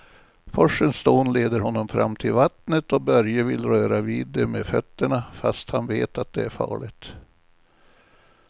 Forsens dån leder honom fram till vattnet och Börje vill röra vid det med fötterna, fast han vet att det är farligt.